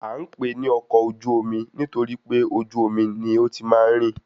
À ń pè é ní ọkọ ojú-omi nitoripe ojú omi ní ó ti máa ń rìn